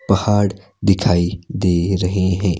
पहाड़ दिखाई दे रहे हैं।